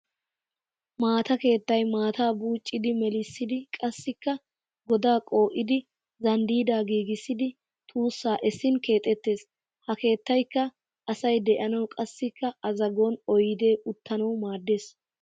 Maata keettay maataa buuccidi meelissidi qassikka godaa qoo'idi zanddidaa giigissiidi tuussaa essin keexettes. Ha keettayikka asay de'anawu qassikka a zagon oyidee uttanawu maaddes.